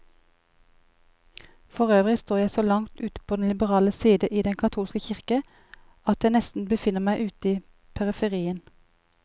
Forøvrig står jeg så langt ute på den liberale side i den katolske kirke, at jeg nesten befinner meg ute i periferien.